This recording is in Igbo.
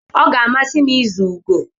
Ọ ga-amasị m ịzu ugo.